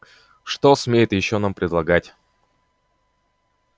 что смеет ещё нам предлагать